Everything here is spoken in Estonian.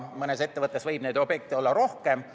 Mõnes ettevõttes võib neid objekte olla rohkem.